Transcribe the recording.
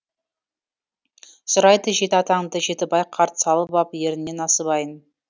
сұрайды жеті атаңды жетібай қарт салып ап ерініне насыбайын